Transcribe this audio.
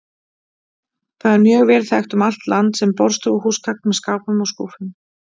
Það er mjög vel þekkt um allt land sem borðstofuhúsgagn með skápum og skúffum.